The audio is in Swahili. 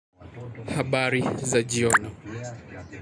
Habari za jioni.